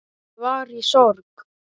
Ég var í sorg.